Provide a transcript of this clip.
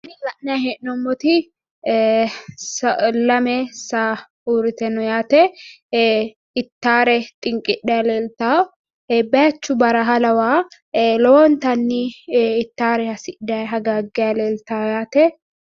Tini la'nanni hee'noommoti lame saa uurrite no yaate ittare xinqidhayi leeltawo bayichu baraha lawaho lowontanni ittare hasidhati hagaaggayi leeltawo yaate.